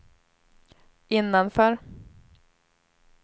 innanför